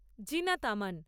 Zinat Aman